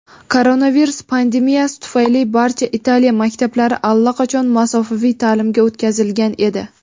Koronavirus pandemiyasi tufayli barcha Italiya maktablari allaqachon masofaviy ta’limga o‘tkazilgan edi.